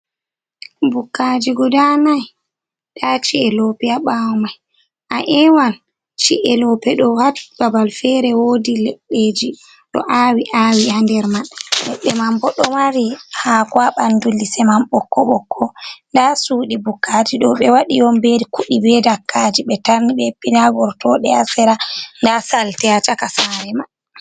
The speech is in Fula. Bukkaji guda nai, nda chi’e lope haa ɓawo mai. A ewan chi’e lope ɗo haa babal fere wodi leɗɗeji ɗo awi-awi haa nder mai, ledde man bo ɗo mari haako haa bandu lise man ɓokko-ɓokko, nda suɗi bukkaji ɗo ɓe waɗi on be kuɗi be dakkaaji ɓe tarni ɓe hippi, nda gertoɗe haa sera, nda salte haa caka saare man.